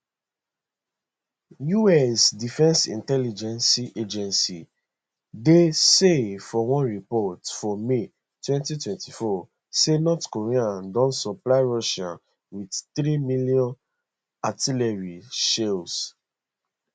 us defence intelligence agency dia say for one report for may 2024 say north korea don supply russia wit three million artillery shells